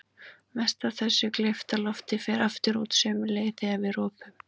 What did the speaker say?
Mest af þessu gleypta lofti fer aftur út sömu leið þegar við ropum.